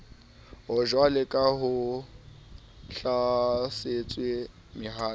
jwaleka ha ho hlalosetswe mohato